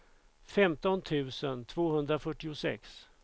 femton tusen tvåhundrafyrtiosex